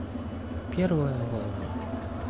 первая волна